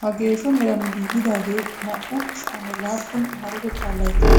Ha geesho meran giigidaagee naa"u sha'anne laappun maarotettaa layttan